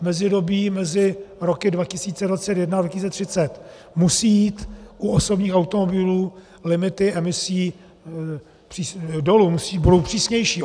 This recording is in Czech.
V mezidobí mezi roky 2021 a 2030 musí jít u osobních automobilů limity emisí dolů, budou přísnější.